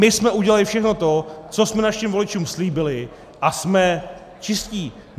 My jsme udělali všechno to, co jsme našim voličům slíbili, a jsme čistí.